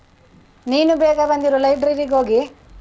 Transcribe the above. ನೀನೂ ಬೇಗ ಬಂದಿರು library ಗ್ ಹೋಗಿ.